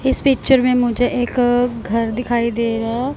इस पिक्चर में मुझे एक घर दिखाई दे रहा--